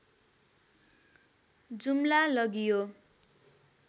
जुम्ला लगियो